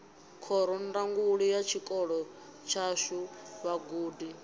khorondanguli ya tshikolo tshashu vhagudi